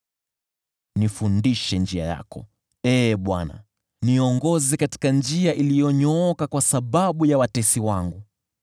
Nifundishe njia yako, Ee Bwana , niongoze katika njia iliyonyooka kwa sababu ya watesi wangu.